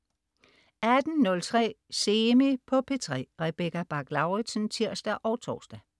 18.03 Semi på P3. Rebecca Bach-Lauritsen (tirs og tors)